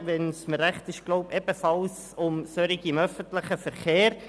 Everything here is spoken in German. Wenn ich mich richtig erinnere, ging es um solche für den öffentlichen Verkehr.